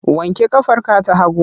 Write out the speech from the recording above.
Wanke ƙafarka ta hagu!